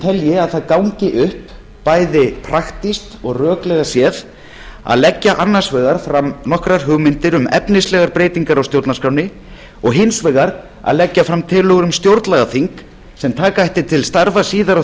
telji að það gangi upp bæði praktískt og röklega séð að leggja annars vegar fram nokkrar hugmyndir um efnislegar breytingar á stjórnarskránni og hins vegar að leggja fram tillögur um stjórnlagaþing sem taka ætti til starfa síðar á